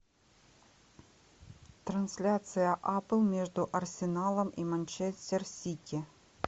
трансляция апл между арсеналом и манчестер сити